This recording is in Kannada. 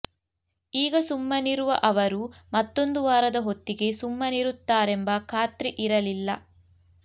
ಈಗ ಸುಮ್ಮನಿರುವ ಅವರು ಮತ್ತೊಂದು ವಾರದ ಹೊತ್ತಿಗೆ ಸುಮ್ಮನಿರುತ್ತಾರೆಂಬ ಖಾತ್ರಿ ಇರಲಿಲ್ಲ